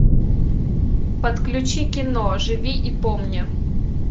подключи кино живи и помни